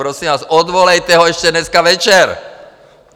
Prosím vás, odvolejte ho ještě dneska večer.